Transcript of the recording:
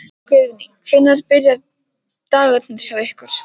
Guðný: Hvenær byrja dagarnir hjá ykkur?